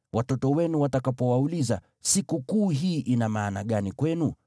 Watoto wenu watakapowauliza, ‘Sikukuu hii ina maana gani kwenu?’